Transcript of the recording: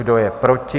Kdo je proti?